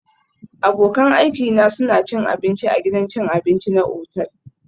Abokan aikina suna cin abinci a gidan cin abinci na otal